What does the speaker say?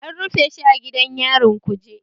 An rufe shi a gidan yarin Kuje